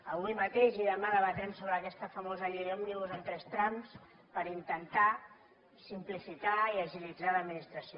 avui mateix i demà debatrem sobre aquesta famosa llei òmnibus en tres trams per intentar simplificar i agilitzar l’administració